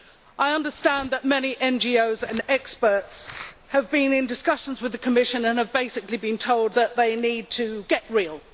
I understand that many NGOs and experts have been in discussions with the Commission and have basically been told that they need to get real'